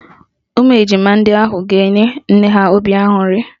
Ụmụ ejima ndị ahụ ga-enye nne ha obi aṅụrị